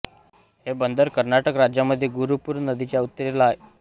हे बंदर कर्नाटक राज्यामध्ये गुरुपूर नदीच्या उत्तरेला आहे